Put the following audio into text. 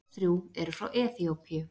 Öll þrjú eru frá Eþíópíu.